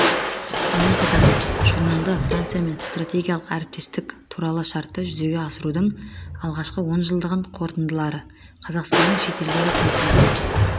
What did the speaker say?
сонымен қатар журналда франциямен стратегиялық әріптестік туралы шартты жүзеге асырудың алғашқы онжылдығының қорытындылары қазақстанның шетелдегі консулдық